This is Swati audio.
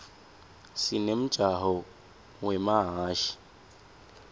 sinemjako wemahhashi